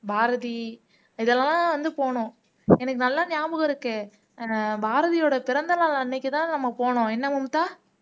பாரதி இதெல்லாம் வந்து போணும் எனக்கு நல்லா ஞாபகம் இருக்கு பாரதியோட பிறந்த நாள் அன்னைக்குதான் நம்ம போனோம் என்ன மும்தா